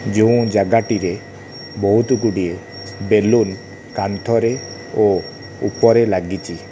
ଯେଉଁ ଜାଗା ଟିରେ ବହୁତ୍ ଗୁଡ଼ିଏ ସେ ସେଲୁନ୍ କାନ୍ଥରେ ଓ ଉପରେ ଲାଗିଚି ।